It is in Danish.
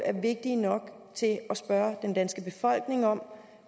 er vigtige nok til at spørge den danske befolkning om